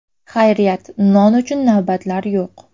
Xayriyat, non uchun navbatlar yo‘q.